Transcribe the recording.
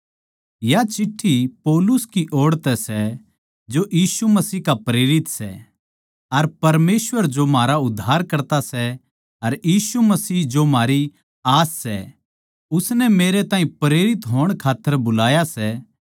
या चिट्ठी पौलुस की ओड़ तै सै जो यीशु मसीह का प्रेरित सै अर परमेसवर जो म्हारा उद्धारकर्ता सै अर यीशु मसीह जो म्हारी उम्मीद सै उसनै मेरे ताहीं प्रेरित होण खात्तर बुलाया सै